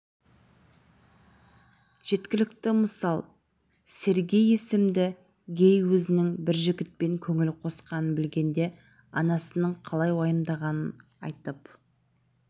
жеткілікті мысалы сергей есімді гей өзінің бір жігітпен көңіл қосқанын білгенде анасының қалай уайымдағанын айтып